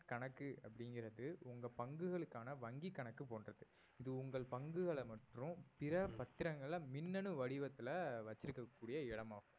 கணக்கு அப்படிங்கறது உங்க பங்குகளுக்கான வங்கி கணக்கு போன்றது இது உங்கள் பங்குகளை மற்றும் பிற பத்திரங்களை மின்னணு வடிவத்தில வச்சிருக்கக் கூடிய இடமாகும்